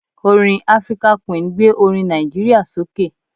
Orin African Queen gbé orin Nàìjíríà sókè.